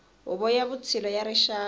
huvo ya vutshila ya rixaka